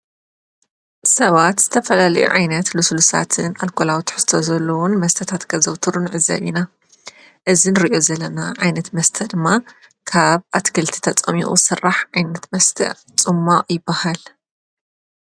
ሰባት ዝተፈላለዩ ዓይነት ሉሱሉሳትን አልኮላዊ ትሕዝቶ ዘለዎን መስተታተ ከዘውቱሩ ንዕዘብ ኢና። እዚ ንሪኦ ዘለና ዓይነታት መስተ ድማ ካብ አትክልቲ ተፀሚቁ ዝስራሕ ዓይነት መስተ ፅሟቅ ይበሃል፡፡